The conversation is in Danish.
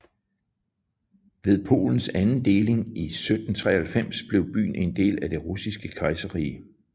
Ved Polens anden deling i 1793 blev byen en del af Det Russiske Kejserrige